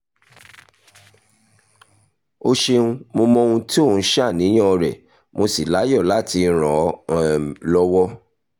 o ṣeun mo mọ ohun tó ń ṣàníyàn rẹ mo sì láyọ̀ láti ràn ọ́ um lọ́wọ́